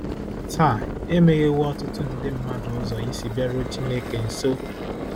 Taa, e meghewo ọtụtụ ndị mmadụ ụzọ isi bịaruo Chineke nso!